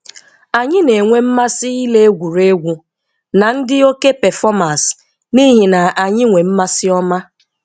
Anyị na enwe mmasi ile egwuregwu, na ndi oké performers n'ihi na anyi nwe mmasi ọma